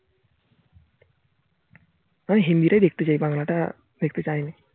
মানে হিন্দি তাই দেখতে চাই বাংলাটা দেখতে চাই নি